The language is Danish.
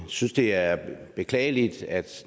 synes det er beklageligt at